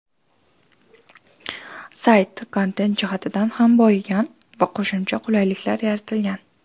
Sayt kontent jihatidan ham boyigan va qo‘shimcha qulayliklar yaratilgan.